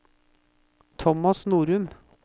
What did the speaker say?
Thomas Norum